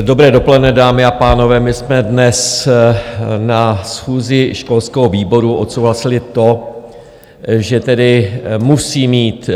Dobré dopoledne, dámy a pánové, my jsme dnes na schůzi školského výboru odsouhlasili to, že tedy musí mít